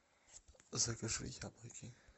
закажи яблоки